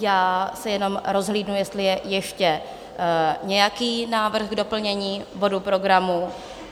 Já se jenom rozhlídnu, jestli je ještě nějaký návrh k doplnění bodu programu.